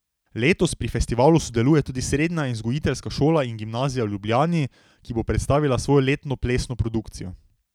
Letos pri festivalu sodeluje tudi Srednja in vzgojiteljska šola in gimnazija v Ljubljani, ki bo predstavila svojo letno plesno produkcijo.